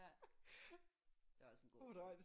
Ja det er også en god